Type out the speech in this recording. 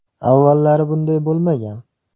Avvallari bunday bo‘lmagan.